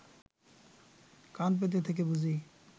কান পেতে থেকে বুঝি